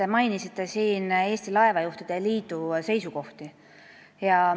Te mainisite siin Eesti Laevajuhtide Liidu seisukohti.